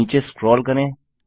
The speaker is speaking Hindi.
नीचे स्क्रोल करें